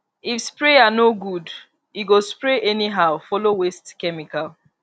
if sprayer no good e go spray anyhow follow waste chemical